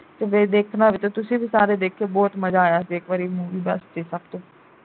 ਜੇ ਦੇਖਣਾ ਹੋਵੇ ਤੁਸੀਂ ਵੀ ਸਾਰੇ ਦੇਖਿਓ ਬਹੁਤ ਮਜ਼ਾ ਆਇਆ ਇਕ ਵਾਰੀ movie